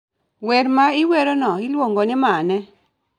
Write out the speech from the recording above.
wer ma iwerono iluongo ni mane?